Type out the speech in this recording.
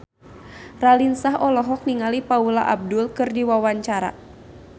Raline Shah olohok ningali Paula Abdul keur diwawancara